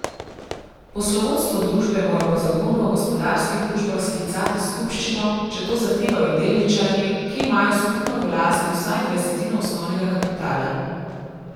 Poslovodstvo družbe mora po zakonu o gospodarskih družbah sklicati skupščino, če to zahtevajo delničarji, ki imajo skupno v lasti vsaj dvajsetino osnovnega kapitala.